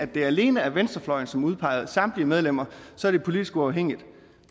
det alene er venstrefløjen som udpeger samtlige medlemmer så er det politisk uafhængigt